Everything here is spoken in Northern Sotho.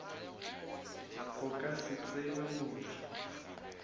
go ka se tsebe motho